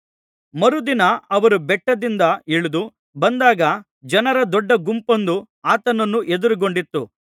ಮರುದಿನ ಅವರು ಬೆಟ್ಟದಿಂದ ಇಳಿದು ಬಂದಾಗ ಜನರ ದೊಡ್ಡ ಗುಂಪೊಂದು ಆತನನ್ನು ಎದುರುಗೊಂಡಿತು